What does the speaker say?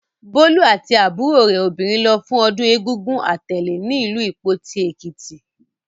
Bólú àti àbúrò rẹ̀ obìnrin lọ fún ọdún Egúngún Atèlè ní ìlú Ìpoti, Èkìtì.